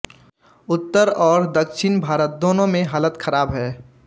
उत्तर और दक्षिण भारत दोनों में हालत ख़राब है